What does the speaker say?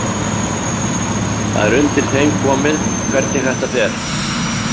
Það er undir þeim komið hvernig þetta fer.